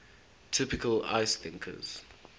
typical ice thickness